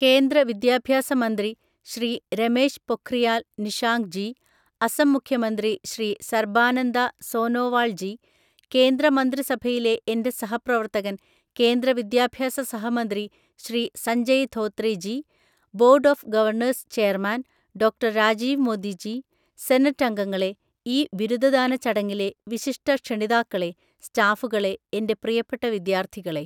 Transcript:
കേന്ദ്ര വിദ്യാഭ്യാസ മന്ത്രി ശ്രീ രമേശ് പൊഖ്രിയാൽ നിഷാങ്ക് ജി, അസം മുഖ്യമന്ത്രി ശ്രീ സർബാനന്ദ സോനോവാൾ ജി, കേന്ദ്ര മന്ത്രിസഭയിലെ എന്റെ സഹപ്രവർത്തകൻ, കേന്ദ്ര വിദ്യാഭ്യാസ സഹമന്ത്രി Shri Sanjay Dhotre G, board of governor's chairman ഡോ.രാജീവ് Modiji, senate അംഗങ്ങളെ, ഈ ബിരുദദാന ചടങ്ങിലെ വിശീഷ്ടക്ഷണിതാക്കളെ, സ്റ്റാഫുകളെ, എന്റെ പ്രിയപ്പെട്ട വിദ്യാർത്ഥികളേ!